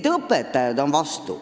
Ka õpetajad on vastu.